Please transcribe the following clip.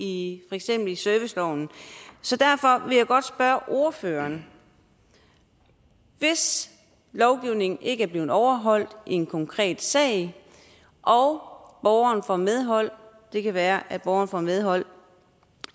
i serviceloven så derfor vil jeg godt spørge ordføreren hvis lovgivningen ikke er blevet overholdt i en konkret sag og borgeren får medhold det kan være at borgeren får medhold